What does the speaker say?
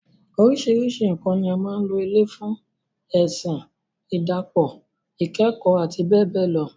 Oríṣiríṣi nǹkan ni a máa ń lò ilé fún - ẹ̀sìn, ìdàpọ̀, ikekoo, àti bẹ́ẹ̀ bẹ́ẹ̀ lọ.